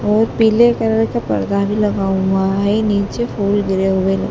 और पीले कलर का पर्दा भी लगा हुआ है नीचे फूल गिरे हुए--